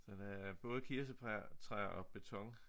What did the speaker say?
Så det er både kirse træer og beton